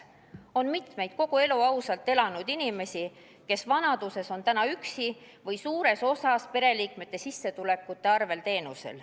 On palju kogu elu ausalt elanud inimesi, kes vanaduses on üksi või saavad teenust suures osas pereliikmete sissetulekute arvel.